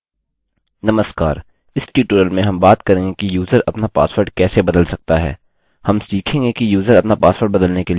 नमस्कार इस ट्यूटोरियल में हम बात करेंगे कि यूज़र अपना पासवर्ड कैसे बदल सकता है